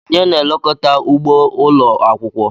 Onye na-elekọta ugbo ụlọ akwụkwọ?